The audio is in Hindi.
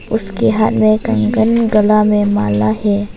उसके हाथ में कंगन गला में माला है।